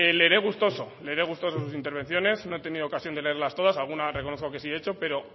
leeré gustoso leeré gustoso sus intervenciones no he tenido ocasión de leerlas todas alguna reconozco que sí he hecho pero